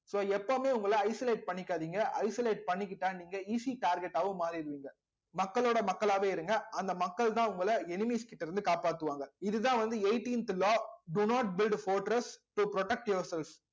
so எப்பவுமே உங்களை isolate பண்ணிக்காதீங்க isolate பண்ணிக்கிட்டா நீங்க easy target ஆவும் மாறிடுவீங்க மக்களோட மக்களாவே இருங்க அந்த மக்கள்தான் உங்களை enemies கிட்ட இருந்து காப்பாத்துவாங்க இதுதான் வந்து eighteenth law do not build to protect yourselves